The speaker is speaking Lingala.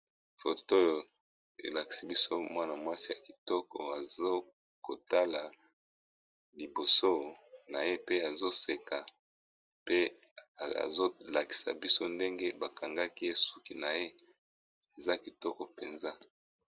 Photo elakisi biso muana muasi ya kitoko, azali kotala liboso naye, pe aza koseka